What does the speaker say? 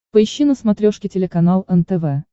поищи на смотрешке телеканал нтв